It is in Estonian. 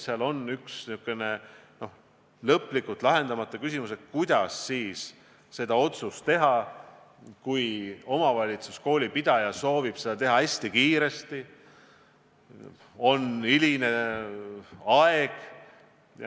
Seal on üks niisugune lõplikult lahendamata küsimus, kuidas seda otsust teha siis, kui omavalitsus, koolipidaja, soovib seda teha hästi kiiresti ja on hiline aeg.